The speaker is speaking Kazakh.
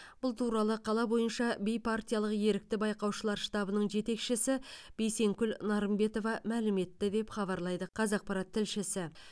бұл туралы қала бойынша бейпартиялық ерікті байқаушылар штабының жетекшісі бейсенкүл нарымбетова мәлім етті деп хабарлайды қазақпарат тілшісі